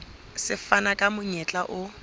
se fana ka monyetla o